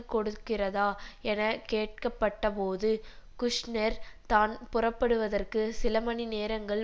கொடுக்கிறதா என கேட்கப்பட்டபோது குஷ்நெர் தான் புறப்படுவதற்கு சில மணி நேரங்கள்